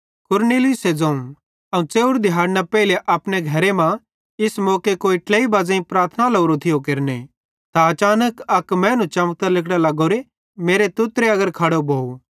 कुरनेलियुसे ज़ोवं अवं च़ेव्रे दिहाड़ना पेइले अपने घरे मां इस मौके कोई ट्लेई बज़ेइं प्रार्थना लोरो थियो केरने त अचानक अक मैनू चमकतां लिगड़ां लग्गोरो मेरे तुत्तरे अगर खड़ो भोव